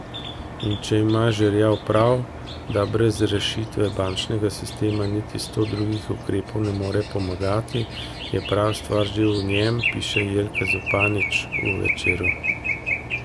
In če ima Žerjav prav, da brez rešitve bančnega sistema niti sto drugih ukrepov ne more pomagati, je prava stvar že v njem, piše Jelka Zupanič v Večeru.